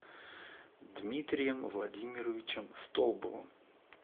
дмитрием владимировичем столбовым